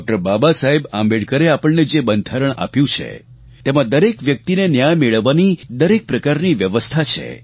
બાબાસાહેબ આંબેડકરે આપણને જે બંધારણ આપ્યું છે તેમાં દરેક વ્યક્તિને ન્યાય મેળવવાની દરેક પ્રકારની વ્યવસ્થા છે